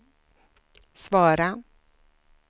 svara